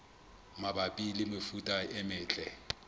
mabapi le mefuta e metle